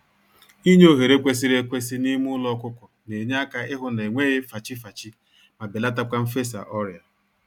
Inye ohere kwesịrị ekwesị n'ime ụlọ ọkụkọ n'enyeaka ịhụ na enweghị fachi-fachi, ma belatakwa mfesa ọrịa